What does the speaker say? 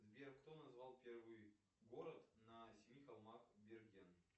сбер кто назвал первый город на семи холмах берген